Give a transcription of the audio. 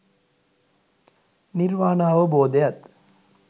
නිර්වාණාවබෝධයත්